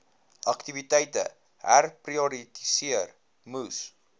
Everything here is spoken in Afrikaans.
aktiwiteite herprioritiseer moes